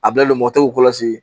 A bilalen don mɔgɔ tɛ kɔlɔsi